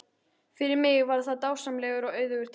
Fyrir mig var það dásamlegur og auðugur tími.